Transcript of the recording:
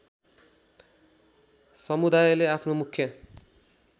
समुदायले आफ्नो मुख्य